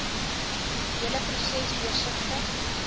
hele proses deursigtig